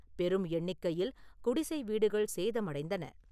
பெரும் எண்ணிக்கையில் குடிசை வீடுகள் சேதம் அடைந்தன.